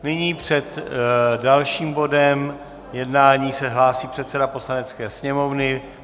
Nyní před dalším bodem jednání se hlásí předseda Poslanecké sněmovny.